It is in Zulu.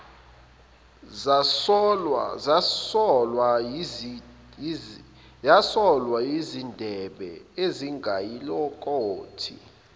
zasolwa yizindebe ezingayilokothi